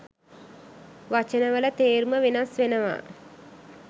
වචනවල තේරුම වෙනස් වෙනවා